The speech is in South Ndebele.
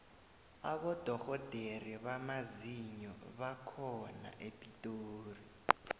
abodorhodere bamazinyo bakhona epitori